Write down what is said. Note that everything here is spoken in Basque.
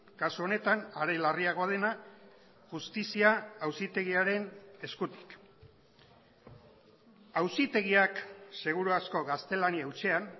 kasu honetan are larriagoa dena justizia auzitegiaren eskutik auzitegiak seguru asko gaztelania hutsean